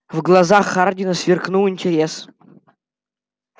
в глазах хардина сверкнул интерес